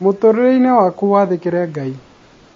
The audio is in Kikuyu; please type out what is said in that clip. mũtũrĩre-inĩ waku wathĩkĩre Ngai